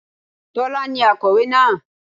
Tọ́lá ni akọ̀wé náà